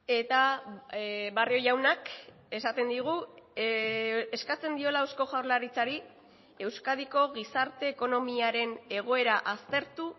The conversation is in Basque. eta barrio jaunak esaten digu eskatzen diola eusko jaurlaritzari euskadiko gizarte ekonomiaren egoera aztertu